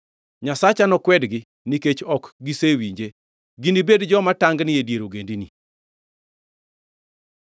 Nyasacha nokwedgi nikech ok gisewinje, ginibedi joma tangni e dier ogendini.